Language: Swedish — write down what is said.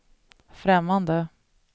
främmande